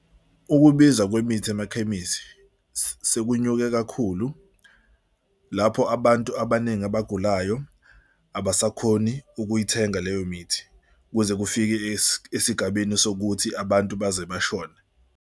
Ukubiza kwemithi emakhemisi sekunyuke kakhulu lapho abantu abaningi abagulayo abasakhoni ukuyithenga leyo mithi kuze kufike esigabeni sokuthi abantu baze bashone.